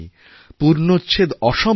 পূর্ণচ্ছেদ অসম্ভব